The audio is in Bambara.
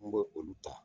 N b'o olu ta